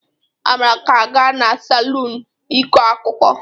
Amara ga-aga n'salọnụ ikọ akuko.